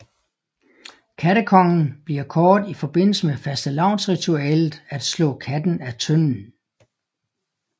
Kattekongen bliver kåret i forbindelse med fastelavnsritualet at slå katten af tønden